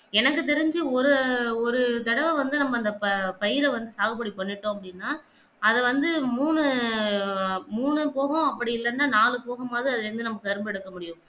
எனக்கு தெரிஞ்சு ஒரு ஒரு தடவ வந்து நம்ம வந்தப்ப பயிர்ல வந்து சாது போடி பண்ணிட்டோம் அப்படின்னா அத வந்து மூணு எர் மூணு போதும் அப்படி இல்லேனா நாலு போகும் பொது அதிலிருந்து நம்ம கரும்பு எடுக்க முடியும்